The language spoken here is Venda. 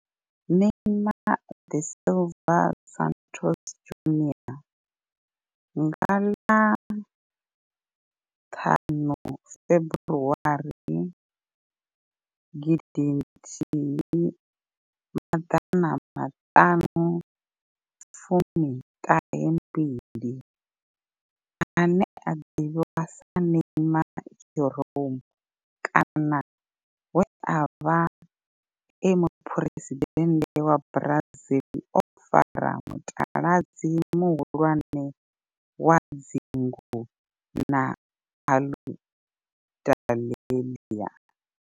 Neymar da Silva Santos Junior nga ḽa 5 February 1992, ane a ḓivhiwa sa Neymar' Jeromme kana we a vha e muphuresidennde wa Brazil o fara mutaladzi muhulwane wa dzingu na Aludalelia.